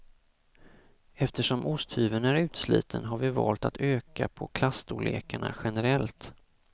Eftersom osthyveln är utsliten har vi valt att öka på klasstorlekarna generellt.